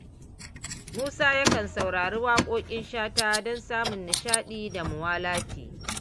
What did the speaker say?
Musa yakan saurari waƙoƙin Shata don samun nishaɗi da muwalati.